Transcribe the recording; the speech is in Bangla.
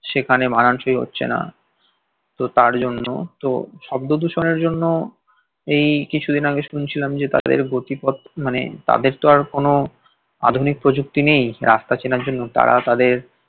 সেখানে মানানসই হচ্ছে না তো তার জন্য তো শব্দ দূষণের জন্য এই কিছু দিন আগে শুনছিলাম যে তাদের গতিপথ মানে তাদের তো আর কোনো আধুনিক প্রযুক্তি নেই রাস্তা চেনার জন্য তারা তাদের